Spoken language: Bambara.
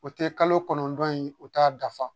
O tɛ kalo kɔnɔntɔn ye o t'a dafa